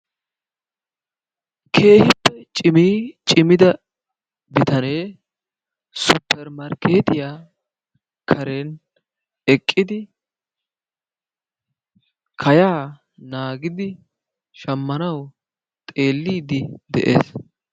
Keehippe cimii cimida bitanee supermarkketiyaa karen eqqidi kayaa naagidi shamanawu xeellidi de'ees.